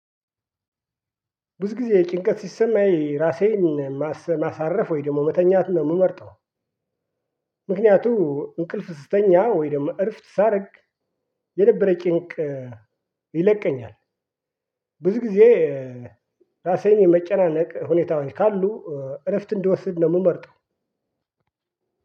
ብዙ ጊዜ ጭንቀት ሲሰማኝ ራሴን ማሳረፍ ወይ ደግሞ መተኛት ነው የምመርጠው። ምክንያቱ እንቅልፍ ስተኛ ወይ ደግሞ እረፍት ሳረግ የነበረ ጭንቅ ይለቀኛል። ብዙ ጊዜ እ ራሴን የመጨናነቅ ሁኔታውን ካሉ እረፍት እንድወስድ ነው የምመርጠው።